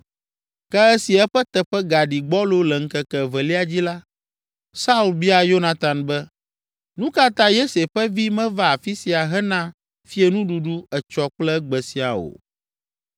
Ke esi eƒe teƒe gaɖi gbɔlo le ŋkeke evelia dzi la, Saul bia Yonatan be, “Nu ka ta Yese ƒe vi meva afi sia hena fiẽnuɖuɖu etsɔ kple egbe siaa o?”